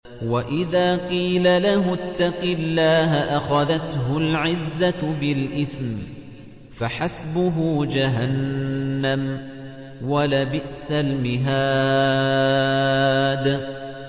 وَإِذَا قِيلَ لَهُ اتَّقِ اللَّهَ أَخَذَتْهُ الْعِزَّةُ بِالْإِثْمِ ۚ فَحَسْبُهُ جَهَنَّمُ ۚ وَلَبِئْسَ الْمِهَادُ